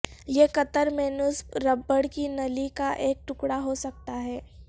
یہ قطر میں نصب ربڑ کی نلی کا ایک ٹکڑا ہو سکتا ہے